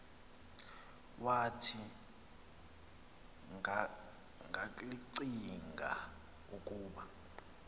wathi ngakllcinga ukub